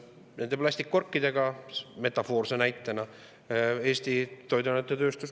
Nende plastkorkide puhul, metafoorse näitena, mida teatas meile Eesti toiduainetööstus?